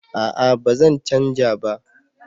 A'a ba zan canja ba